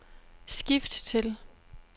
skift til